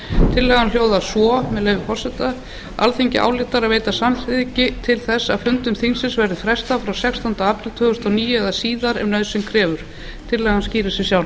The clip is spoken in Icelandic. tillagan hljóðar svo með leyfi forseta alþingi ályktar að veita samþykki til þess að fundum þingsins verði frestað frá sextánda apríl tvö þúsund og níu eða síðar ef nauðsyn krefur tillagan skýrir sig sjálf